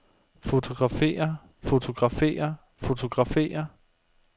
fotografere fotografere fotografere